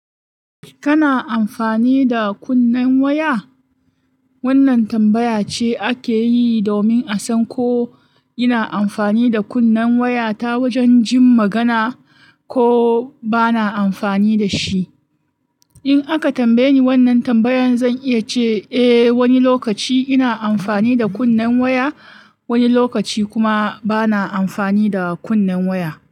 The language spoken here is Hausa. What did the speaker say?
Kana amfani da kunnen waya? Wannan tambaya ce ake yi domin a san ko ina amfani da kunnen waya ta wajen jin magana, ko ba na amfani da shi. In aka tambaye ni wannan tambayan, zan iya ce, "Eh, wani lokaci ina amfani da kunnen waya, wani lokaci kuma ba na amfani da kunnen waya."